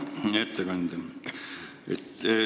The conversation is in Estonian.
Hea ettekandja!